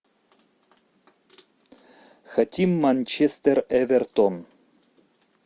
хотим манчестер эвертон